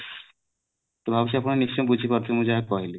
ମୁଁ ଭାବୁଛି ଆପଣ ନିଶ୍ଚୟ ବୁଝି ପାରୁଥିବେ ମୁଁ ଯାହା କହିଲି